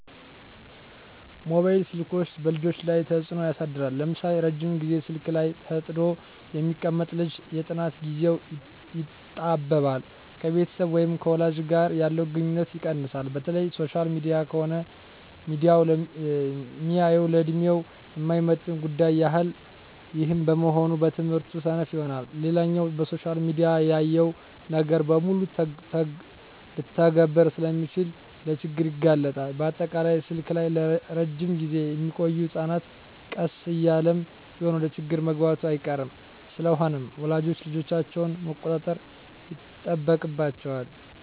መባይል ስልኮች በልጆች ላይ ተጽኖ ያሳድራል ለምሳሌ:- ረጅም ግዜ ስልክ ላይ ተጥዶ የሚቀመጥ ልጅ የጥናት ግዜው ይጣበባል፣ ከቤተሰብ ወይም ከወላጅ ጋር ያለው ግንኙነት ይቀንሳል፣ በተለይ ሶሻል ሚዲያ ከሆነ ሚያየው ለድሜው የማይመጥን ጉዳዮች ያያል ይህም በመሆኑ በትምህርቱ ሰነፍ ይሆናል። ሌላኛው በሶሻል ሚዲያ ያየውን ነገር በሙሉ ልተግብር ስለሚል ለችግር ይጋለጣል፣ በአጠቃላይ ስልክ ላይ እረጅም ግዜ ሚቆዮ ህጸናት ቀስ እያለም ቢሆን ወደችግር መግባቱ አይቀርም። ስለሆነም ወላጆች ልጆቻቸውን መቆጣጠር ይጠበቅባቸዋል